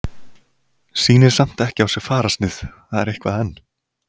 Sýnir samt ekki á sér fararsnið, það er eitthvað enn.